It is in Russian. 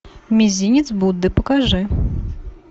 мизинец будды покажи